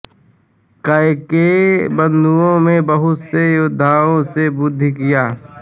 कैकेय बंधुओं ने बहुत से योद्धाओं से युद्ध किया